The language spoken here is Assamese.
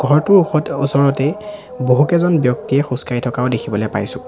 ঘৰটোৰ ওখত ওচৰতেই বহুকেইজন ব্যক্তিয়ে খোজকাঢ়ি থকাও দেখিবলে পাইছোঁ।